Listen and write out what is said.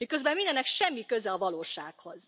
Miközben mindennek semmi köze a valósághoz!